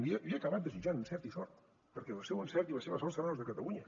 li he acabat desitjant encert i sort perquè el seu encert i la seva sort seran les de catalunya